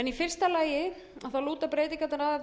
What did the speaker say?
í fyrsta lagi lúta breytingarnar